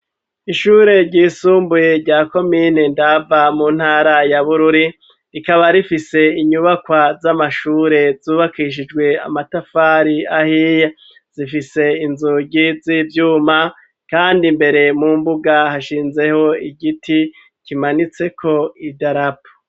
Ishure ryisumbuye rya komine ndava mu ntara ya bururi rikaba rifise inyubakwa z'amashure zubakishijwe amatafari ahiye zifise inzugi z'ivyuma kandi mbere mu mbuga hashinzeho igiti kimanitseko idarapo.